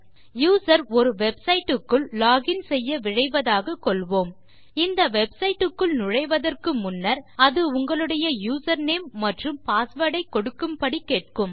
user ஒரு websiteக்குள் login செய்ய விழைவதாக கொள்வோம் இந்த websiteக்குள் நுழைவதற்கு முன்னர் அது உங்களுடைய யூசர்நேம் மற்றும் passwordஐ கொடுக்கும் படி கேட்கும்